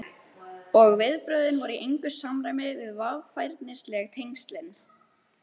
Og viðbrögðin voru í engu samræmi við varfærnisleg tengslin.